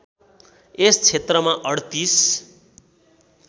यस क्षेत्रमा ३८